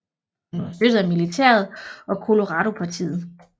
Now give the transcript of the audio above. Han var støttet af militæret og Coloradopartiet